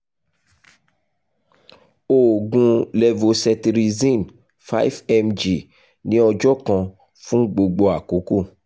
oògùn levocetirizine five mg ni ọjọ kan fun gbogbo akoko